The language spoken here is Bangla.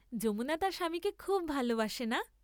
যমুনা তার স্বামীকে খুব ভালবাসে না?